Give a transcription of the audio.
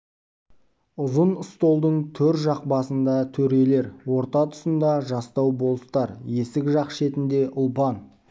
ұзын столдың төр жақ басында төрелер орта тұсында жастау болыстар есік жақ шетінде ұлпан